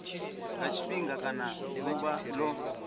nga tshifhinga kana ḓuvha ḽo